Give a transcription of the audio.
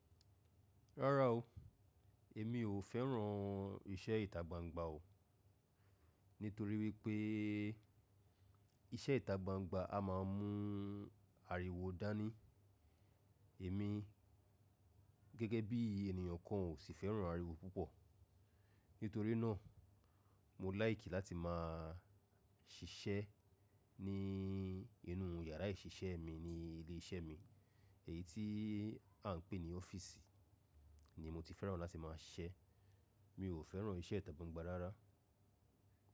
Rárá o, èmi ò fẹ́ràn iṣẹ́ ìtagbangba o. Nítorí wípé iṣẹ́ ìtagbangba a máà mú ariwo dání. Èmi gẹ́gẹ́ bí ènìyàn kan ò sì fẹ́ràn ariwo púpọ̀. Nítorí náà mo láìkì láti máa ṣiṣẹ́ ní inú yàrá ìṣiṣẹ́ mi ní ilé iṣẹ́ mi. Èyí tí à ń pè ní ọ́fíìsì ni mo ti fẹ́ràn láti máa siṣẹ. Mi ò fẹ́ràn iṣẹ́ ìtagbangba rárá.